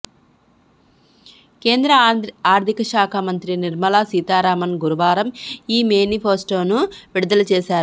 కేంద్ర ఆర్థిక శాఖ మంత్రి నిర్మలా సీతారామన్ గురువారం ఈ మేనిఫెస్టోను విడుదల చేశారు